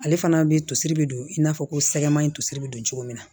Ale fana bɛ tosiri bɛ don i n'a fɔ ko sɛgɛman in tosi bɛ don cogo min na